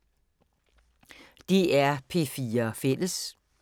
DR P4 Fælles